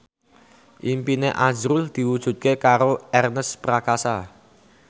impine azrul diwujudke karo Ernest Prakasa